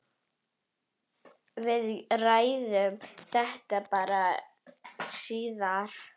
Við ræðum þetta bara síðar.